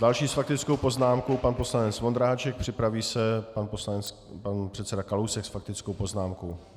Další s faktickou poznámkou pan poslanec Vondráček, připraví se pan předseda Kalousek s faktickou poznámkou.